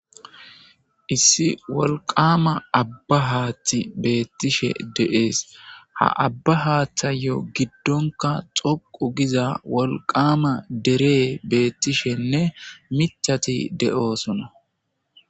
Issi wolqqama aaba haththi beththishe dees ha aaba hatthhayo giddon qa dhdhoqu giza wolqqama deerey betishenne miththati deosonna.